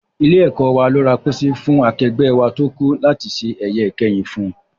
Ilé-ẹ̀kọ́ wa ló ra póósí fún akẹgbẹ́ wa tó kú láti ṣe ẹ̀yẹ ìkẹyìn fún